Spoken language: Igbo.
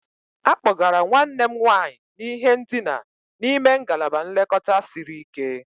A kpọgara nwanne m nwanyị n'ihe ndina n'ime ngalaba nlekọta siri ike